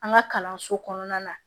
An ka kalanso kɔnɔna na